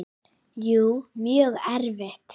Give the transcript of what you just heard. Jú, mjög erfitt.